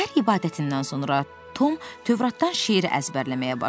Səhər ibadətindən sonra Tom Tövratdan şeir əzbərləməyə başladı.